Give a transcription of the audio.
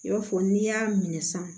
I b'a fɔ n'i y'a minɛ sisan